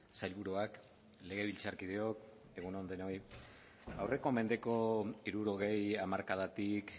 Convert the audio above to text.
sailburuak legebiltzarkideok egun on denoi aurreko mendeko hirurogei hamarkadatik